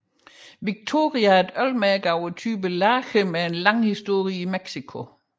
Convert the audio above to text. Victoria er et ølmærke af typen lager med en lang historie i Mexico